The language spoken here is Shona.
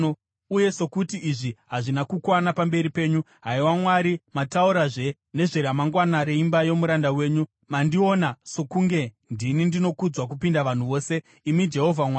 Uye sokuti izvi hazvina kukwana pamberi penyu, haiwa Mwari, mataurazve nezveramangwana reimba yomuranda wenyu. Mandiona sokunge ndini ndinokudzwa kupinda vanhu vose, imi Jehovha Mwari.